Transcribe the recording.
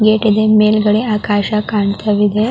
Gate ಇದೆ ಮೇಲ್ಗಡೆ ಆಕಾಶ ಕಾಣ್ತಾ ಇದೆ.